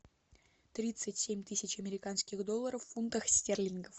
тридцать семь тысяч американских долларов в фунтах стерлингов